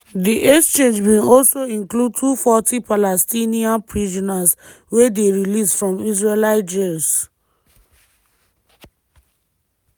di exchange bin also include 240 palestinian prisoners wey dey released from israeli jails.